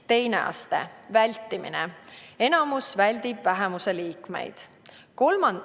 Teine aste on vältimine, mille korral enamus väldib vähemuse liikmeid.